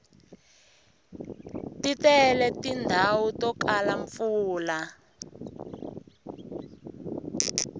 ti tele tindhawu to kala mpfula